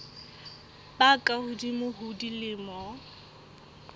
ba ka hodimo ho dilemo